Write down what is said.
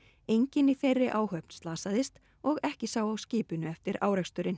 enginn í þeirri áhöfn slasaðist og ekki sá á skipinu eftir áreksturinn